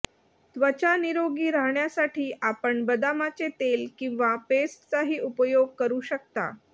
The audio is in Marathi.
त्वचा निरोगी राहण्यासाठी आपण बदामाचे तेल किंवा पेस्टचाही उपयोग करू शकता